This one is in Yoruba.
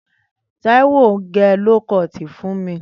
Taiwo n gẹ lókọt fún mi